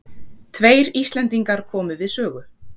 Tveir Íslendingar komu við sögu.